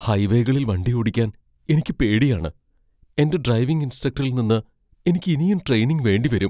ഹൈവേകളിൽ വണ്ടിയോടിക്കാൻ എനിക്ക് പേടിയാണ്, എന്റെ ഡ്രൈവിംഗ് ഇൻസ്ട്രക്ടറിൽ നിന്ന് എനിക്കിനിയും ട്രെയിനിങ് വേണ്ടിവരും.